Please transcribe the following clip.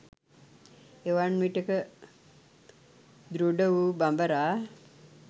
එවන් විටෙක දෘඩ වූ බඹරා